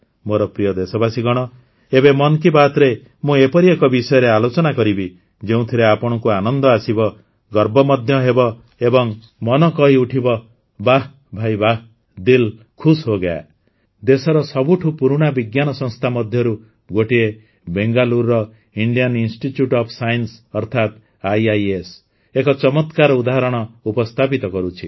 ମୋର ପ୍ରିୟ ଦେଶବାସୀଗଣ ଏବେ ମନ୍ କୀ ବାତ୍ରେ ମୁଁ ଏପରି ଏକ ବିଷୟରେ ଆଲୋଚନା କରିବି ଯେଉଁଥିରେ ଆପଣଙ୍କୁ ଆନନ୍ଦ ଆସିବ ଗର୍ବ ମଧ୍ୟ ହେବ ଏବଂ ମନ କହି ଉଠିବ ବାଃ ଭାଇ ବାଃ ଦିଲ୍ ଖୁସ୍ ହୋ ଗୟା ଦେଶର ସବୁଠୁ ପୁରୁଣା ବିଜ୍ଞାନ ସଂସ୍ଥା ମଧ୍ୟରୁ ଗୋଟିଏ ବେଙ୍ଗାଲୁରୁର ଇଣ୍ଡିଆନ ଇନଷ୍ଟିଚ୍ୟୁଟ୍ ଅଫ୍ ସାଇନ୍ସ ଅର୍ଥାତ ଆଇଆଇଏସ୍ ଏକ ଚମକ୍ରାର ଉଦାହରଣ ଉପସ୍ଥାପିତ କରୁଛି